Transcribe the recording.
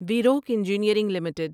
ویروک engineering limited